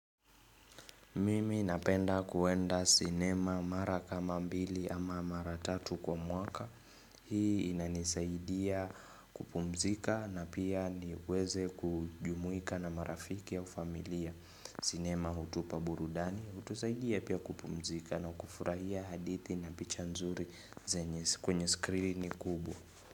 Mimi napenda kuenda sinema mara kama mbili ama mara tatu kwa mwaka. Hii inanisaidia kupumzika na pia niweze kujumuika na marafiki au ufamilia. Sinema hutupa burudani, hutusaidia pia kupumzika na kufurahia hadithi na picha nzuri kwenye skrini kubwa.